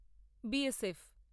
BSF